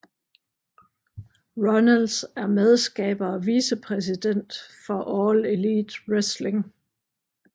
Runnels er medskaber og vicepræsident for All Elite Wrestling